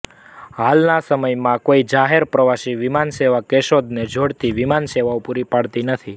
હાલના સમયમાં કોઇ જાહેર પ્રવાસી વિમાનસેવા કેશોદને જોડતી વિમાન સેવાઓ પુરી પાડતી નથી